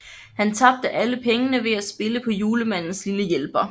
Han tabte alle pengene ved at spille på Julemandens lille hjælper